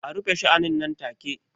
A rufe sha'anin nan take!